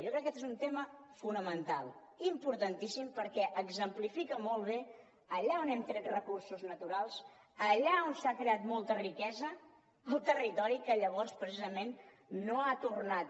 jo crec que aquest és un tema fonamental importantíssim perquè exemplifica molt bé allà on hem tret recursos naturals allà on s’ha creat molta riquesa el territori que llavors precisament no ha tornat